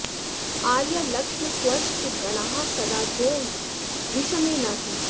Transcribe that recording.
आर्यालक्ष्म त्वष्ट गणाः सदा जो विषमे न हि